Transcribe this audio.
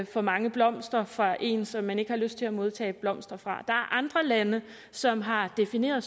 for mange blomster fra en som man ikke har lyst til at modtage blomster fra der er andre lande som har defineret